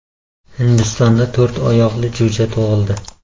Hindistonda to‘rt oyoqli jo‘ja tug‘ildi .